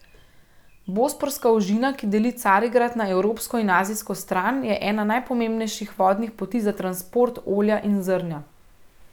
Bosporska ožina, ki deli Carigrad na evropsko in azijsko stran, je ena najpomembnejših vodnih poti za transport olja in zrnja.